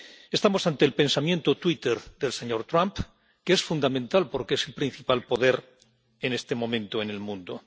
Estamos ante el pensamiento twitter del señor Trump, que es fundamental porque es el principal poder en este momento en el mundo.